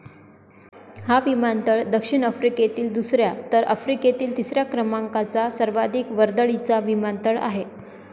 हा विमानतळ दक्षिण आफ्रिकेतील दुसऱ्या तर आफ्रिकेतील तिसऱ्या क्रमाकाचा सर्वाधिक वर्दळीचा विमानतळ आहे.